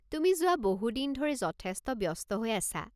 তুমি যোৱা বহু দিন ধৰি যথেষ্ট ব্যস্ত হৈ আছা।